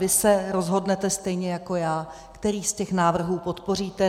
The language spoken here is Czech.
Vy se rozhodnete stejně jako já, který z těch návrhů podpoříte.